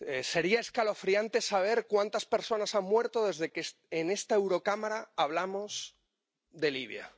Sería escalofriante saber cuántas personas han muerto desde que en esta Eurocámara hablamos de Libia.